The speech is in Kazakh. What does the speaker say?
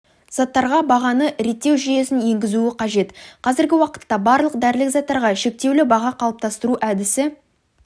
заттарға бағаны реттеу жүйесін енгізуі қажет қазіргі уақытта барлық дәрілік заттарға шектеулі баға қалыптастыру әдісі